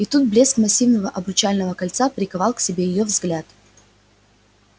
и тут блеск массивного обручального кольца приковал к себе её взгляд